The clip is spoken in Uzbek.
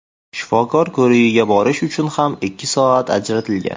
Shifokor ko‘rigiga borish uchun ham ikki soat ajratilgan.